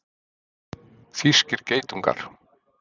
Þýskir geitungar.